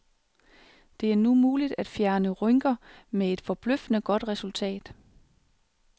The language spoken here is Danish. Det er nu muligt at fjerne rynker med et forbløffende godt resultat.